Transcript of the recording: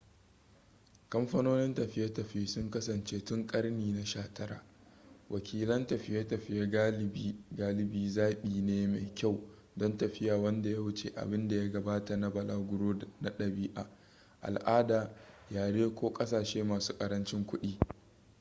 kamfanonin tafiye-tafiye sun kasance tun karni na 19 wakilin tafiye-tafiye galibi zaɓi ne mai kyau don tafiya wanda ya wuce abin da ya gabata na balaguro na ɗabi'a al'ada yare ko ƙasashe masu ƙarancin kuɗi